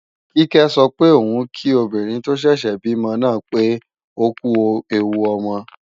Kíkẹ́ sọ pé òun kí obìnrin tó ṣẹ̀ṣẹ̀ bímọ náà pé ókú ẹwu ọmọ